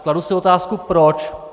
Kladu si otázku proč.